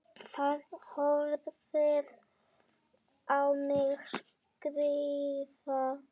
Það horfir á mig skrifa.